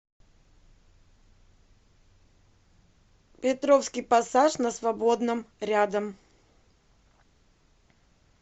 петровский пассаж на свободном рядом